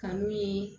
Kanu ye